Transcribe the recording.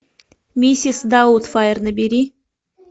миссис даутфайр набери